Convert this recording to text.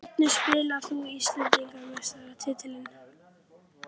Hverjum spáir þú Íslandsmeistaratitlinum?